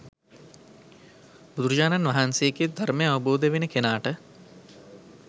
බුදුරජාණන් වහන්සේගේ ධර්මය අවබෝධ වෙන කෙනාට